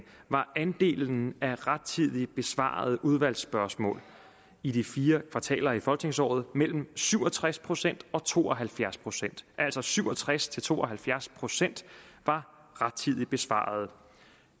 var andelen af rettidigt besvarede udvalgsspørgsmål i de fire kvartaler i folketingsåret mellem syv og tres procent og to og halvfjerds procent altså syv og tres til to og halvfjerds procent var rettidigt besvaret